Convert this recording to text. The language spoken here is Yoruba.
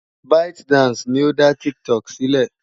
ByteDance ni ó dá TikTok sílẹ̀.